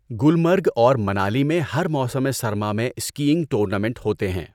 گلمرگ اور منالی میں ہر موسم سرما میں اسکیئنگ ٹورنامنٹ ہوتے ہیں۔